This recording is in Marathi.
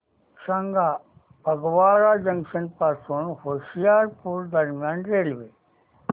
सांगा फगवारा जंक्शन पासून होशियारपुर दरम्यान रेल्वे